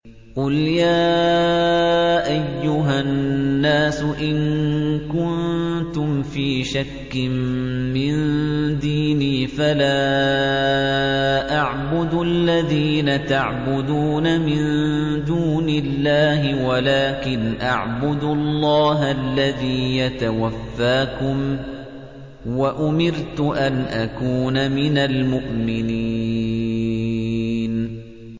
قُلْ يَا أَيُّهَا النَّاسُ إِن كُنتُمْ فِي شَكٍّ مِّن دِينِي فَلَا أَعْبُدُ الَّذِينَ تَعْبُدُونَ مِن دُونِ اللَّهِ وَلَٰكِنْ أَعْبُدُ اللَّهَ الَّذِي يَتَوَفَّاكُمْ ۖ وَأُمِرْتُ أَنْ أَكُونَ مِنَ الْمُؤْمِنِينَ